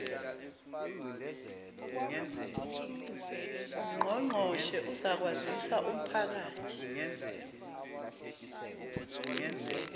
ungqongqoshe uzakwazisa umphakathi